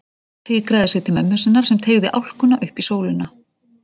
Fikraði sig til mömmu sinnar sem teygði álkuna upp í sólina.